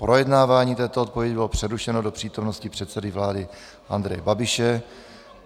Projednávání této odpovědi bylo přerušeno do přítomnosti předsedy vlády Andreje Babiše.